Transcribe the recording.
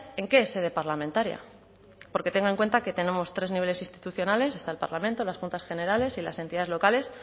en qué sede parlamentaria porque tenga en cuenta que tenemos tres niveles institucionales está el parlamento las juntas generales y las entidades locales